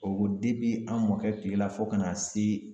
O an mɔkɛ kilela fo ka na se